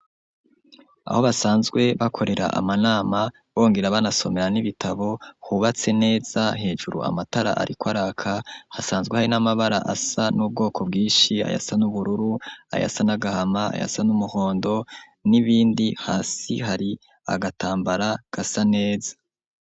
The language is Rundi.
Aho basanzwe, bakorera amanama, bongera, banasomera n'ibitabo, hubatse neza hejuru, amatara ariko araka, hasanzwe hari n'amabara, asa n'ubwoko bwishi ayasa n'ubururu, ayasa n'agahama, ayasa n'umuhondo, n'ibindi hasi, hari agatambara gasa neza.